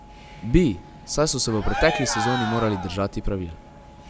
Bi, saj so se v pretekli sezoni morali držati pravil.